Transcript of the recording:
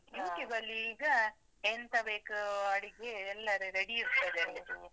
YouTube ಅಲ್ಲಿ ಈಗ ಎಂತ ಬೇಕು ಅಡಿಗೆಯೆಲ್ಲ ready ಇರ್ತದೆ ಅಲ್ಲಿ.